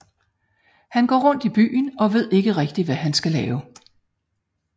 Han går rundt i byen og ved ikke rigtig hvad han skal lave